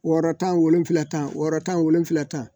Wɔɔrɔ tan wolonwula tan wɔɔrɔ tan wolonwula tan